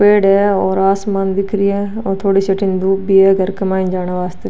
पेड़ है और आसमान भी दिख रहे है और थोड़ी सी अथीन धुप भी है घर के माइन जावण वास्ते।